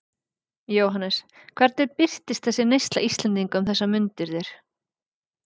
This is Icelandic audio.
Jóhannes: Hvernig birtist þessi neysla Íslendinga um þessar mundir þér?